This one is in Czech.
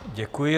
Děkuji.